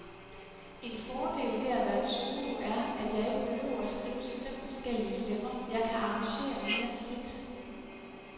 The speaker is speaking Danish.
En fordel ved at være solo er, at jeg ikke behøver skrive til fem forskellige stemmer, jeg kan arrangere mere frit.